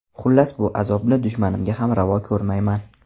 Xullas, bu azobni dushmanimga ham ravo ko‘rmayman.